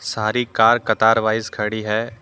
सारी कार कतार वॉइस खड़ी है।